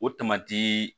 O tamati